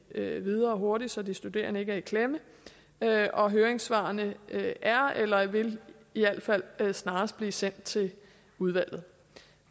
det videre hurtigt så de studerende ikke kommer i klemme og høringssvarene er eller vil i al fald snarest blive sendt til udvalget